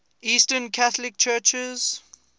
eastern catholic churches